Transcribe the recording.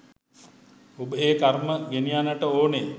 ඔබ ඒ කර්ම ගෙනියන්නට ඕනෙ.